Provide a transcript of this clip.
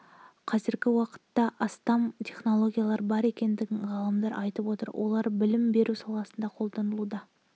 қазіргі уақытта астам технологиялар бар екенін ғалымдар айтып отыр олар білім беру саласында қолданылуда